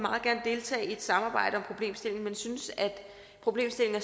deltage i et samarbejde om problemstillingen men hun synes at problemstillingen